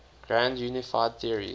grand unified theories